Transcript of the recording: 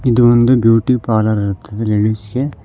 ಇದು ಒಂದು beauty parlour ಇರುತ್ತದೆ ಲೇಡೀಸ್ ಗೆ --